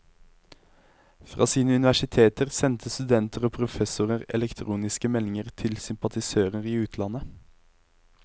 Fra sine universiteter sendte studenter og professorer elektroniske meldinger til sympatisører i utlandet.